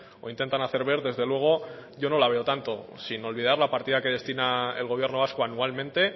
o intentan hacer ver desde luego yo no la veo tanto sin olvidar la partida que destina el gobierno vasco anualmente